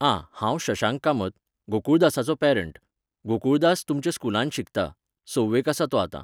आं, हांव शशांक कामत, गोकुळदासाचो पॅरंट. गोकुळदास, तुमच्या स्कूलांत शिकता, सव्वेक आसा तो आतां.